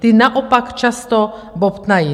Ta naopak často bobtnají.